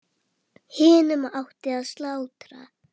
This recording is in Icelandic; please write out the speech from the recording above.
Hinum átti að slátra.